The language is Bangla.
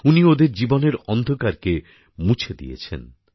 উনি ওদের জীবনের অন্ধকারকে মুছে দিয়েছেন